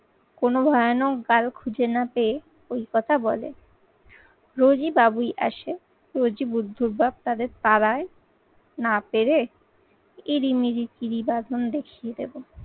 কোনো ভয়ানক গাল খুঁজে না পেয়ে ওই কথা বলে। রোজই বাবুই আসে, রোজই বুদ্ধ ভাব তাদের তারায় না পেরে ইরিমিরি কিরি বাঁধন দেখিয়ে দেবো।